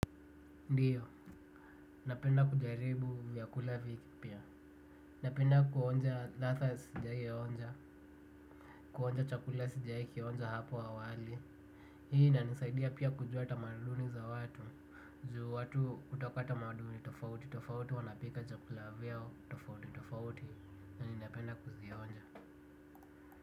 Ndiyo, napenda kujaribu vyakula vipya. Napenda kuonja ladha sijawaionja, kuonja chakula sijawaikionja hapo awali. Hii inanisaidia pia kujua tamaduni za watu, juu watu hutoka tamaduni tofauti tofauti wanapika chakula vyao tofauti tofauti. Na ninapenda kuzionja.